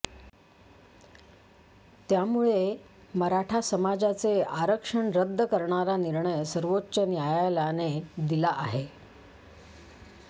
त्यामुळे मराठा समाजाचे आरक्षण रद्द करणारा निर्णय सर्वोच्च न्यायालयाने दिला आहे